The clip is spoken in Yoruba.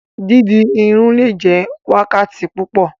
Didi irun le jẹ wákàtí púpọ.